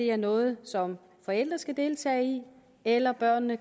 er noget som forældre skal deltage i eller om børnene